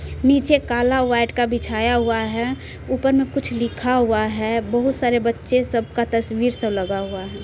नीचे मे काला व्हाइट का बिछाया हुआ है ऊपर मे कुछ लिखा हुआ है बहुत सारे बच्चे सब का तस्वीर सब लगा हुआ है।